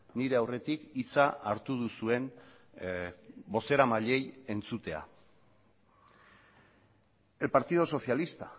nire aurretik hitza hartu duzuen bozeramailei entzutea el partido socialista